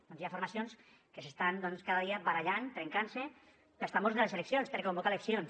doncs hi ha formacions que s’estan cada dia barallant trencant se pels tambors de les eleccions per convocar eleccions